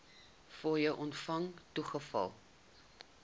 fooie ontvang toegeval